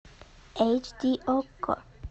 эйч ди окко